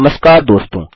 नमस्कार दोस्तों